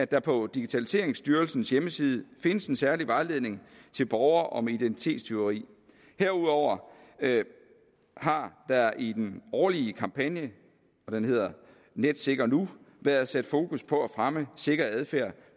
der på digitaliseringsstyrelsens hjemmeside findes en særlig vejledning til borgere om identitetstyveri herudover har der i den årlige kampagne og den hedder netsikker nu været sat fokus på at fremme sikker adfærd